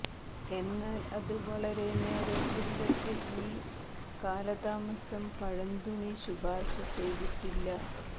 എന്നാൽ അത് വളരെ നേരം ഒരിടത്ത് ഈ കാലതാമസം പഴന്തുണി ശുപാർശ ചെയ്തിട്ടില്ല